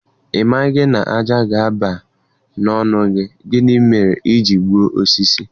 Ị maghị na ájá ga-aba n'ọnụ gị, gịnị mere i ji egbu osisi?